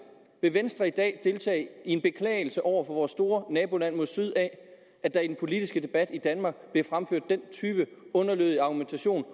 vil venstre i dag deltage i en beklagelse over for vores store naboland mod syd af at der i den politiske debat i danmark bliver fremført den type underlødig argumentation